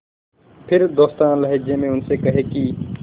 फिर दोस्ताना लहजे में उनसे कहें कि